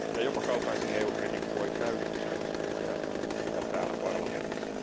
Jopa kaltaiseni EU kriitikko voi täydestä sydämestä tukea sitä täällä parlamentissa.